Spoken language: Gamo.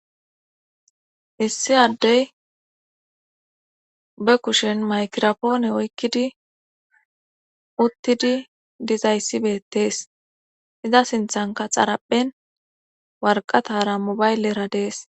issi addey be kushen maykirapoone oykkidi uttidi dizayssibettees iza sinthanka xarapphen warqatara mobaylleradees